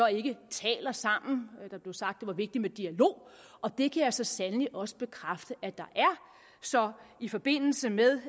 ikke taler sammen der blev sagt at det var vigtigt med dialog og det kan jeg så sandelig også bekræfte at der er så i forbindelse med